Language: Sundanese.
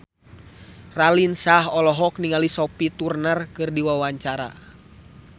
Raline Shah olohok ningali Sophie Turner keur diwawancara